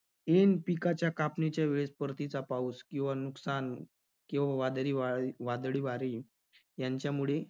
N पिकाच्या कापणीच्या वेळेस परतीचा पाऊस किंवा नुकसान किंवा वादळी वार~ वादळी वारे यांच्यामुळे